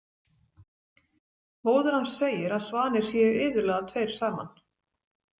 Móðir hans segir að svanir séu iðulega tveir saman.